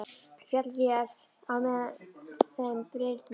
Féll vel á með þeim Birni.